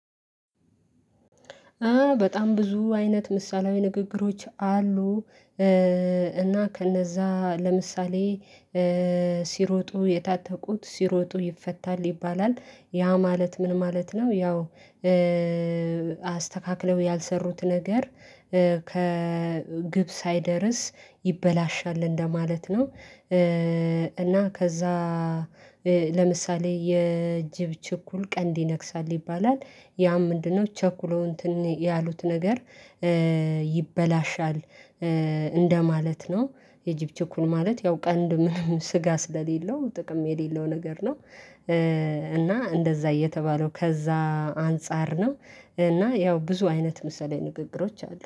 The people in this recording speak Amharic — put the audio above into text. በጣም ብዙ አይነት ምሳሌያዊ ንግግሮች አሉ። እና ከነዛ ለምሳሌ ሲሮጡ የታተቁት ሲሮጡ ይፈታል ይባላል ያ ማለት ምን ማለት ነው? ያው አስተካክለው ያልሰሩት ነገር ከግብ ሳይደርስ ይበላሻል እንደማለት ነው። እና ከዛ ለምሳሌ የእጅብ ችኩል ቀንድ ይነክሳል ይባላል። ያም ምንድነው? ቸኩሎ እንትን ያሉት ነገር ይበላሻል እንደማለት ነው። የጅብ ችኩል ማለት ያው ቀንድ ምንም ስጋ ስለሌለው ጥቅም የሌለው ነገር ነው። እና እንደዛ የተባለው ከዛ አንፃር ነው። እና ያው ብዙ አይነት ምሳሌያዊ ንግግሮች አሉ